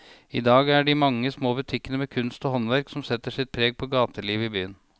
I dag er det de mange små butikkene med kunst og håndverk som setter sitt preg på gatelivet i byen.